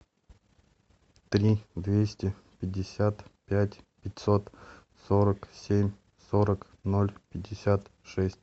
три двести пятьдесят пять пятьсот сорок семь сорок ноль пятьдесят шесть